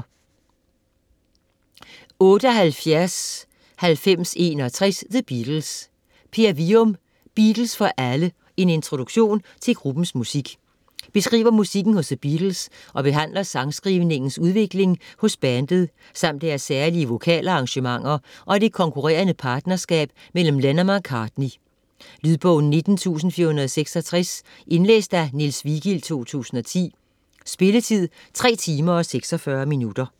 78.9061 The Beatles Wium, Per: Beatles for alle: en introduktion til gruppens musik Beskriver musikken hos The Beatles og behandler sangskrivningens udvikling hos bandet samt deres særlige vokal-arrangementer og det konkurrerende partnerskab mellem Lennon og McCartney. Lydbog 19466 Indlæst af Niels Vigild, 2010. Spilletid: 3 timer, 46 minutter.